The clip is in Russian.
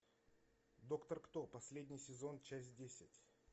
доктор кто последний сезон часть десять